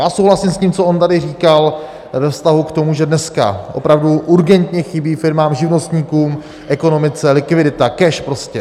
Já souhlasím s tím, co on tady říkal ve vztahu k tomu, že dneska opravdu urgentně chybí firmám, živnostníkům, ekonomice likvidita, cash prostě.